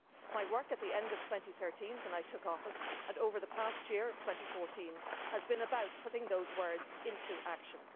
My work at the end of 2013, when I took office, and over the past year of 2014 has been about putting those words into action.